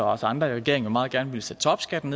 også andre i regeringen meget gerne ville sætte topskatten